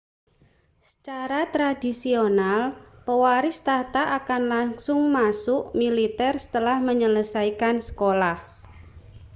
secara tradisional pewaris takhta akan langsung masuk militer setelah menyelesaikan sekolah